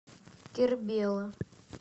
кербела